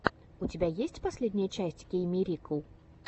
у тебя есть последняя часть кеиммирикл